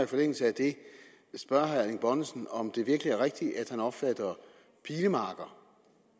forlængelse af det at spørge herre erling bonnesen om det virkelig er rigtigt at han opfatter pilemarker